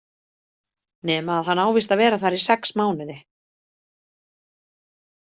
Nema að hann á víst að vera þar í sex mánuði.